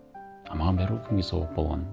а маған бәрібір кімге сауап болғаны